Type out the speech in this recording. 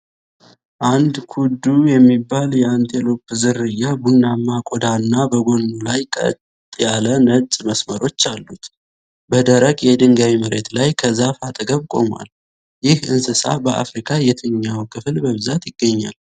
አንድ ኩዱ የሚባል የአንቴሎፕ ዝርያ ቡናማ ቆዳና በጎኑ ላይ ቀጥ ያሉ ነጭ መስመሮች አሉት። በደረቅ፣ የድንጋይ መሬት ላይ ከዛፍ አጠገብ ቆሟል። ይህ እንስሳ በአፍሪካ የትኛው ክፍል በብዛት ይገኛል?